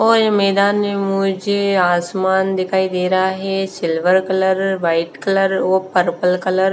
और मैदान में मुझे आसमान दिखाई दे रहा है सिल्वर कलर वाइट कलर और पर्पल कलर --